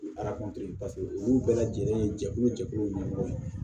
paseke olu bɛɛ lajɛlen ye jɛkulu jɛkulu ɲɛmɔgɔ ye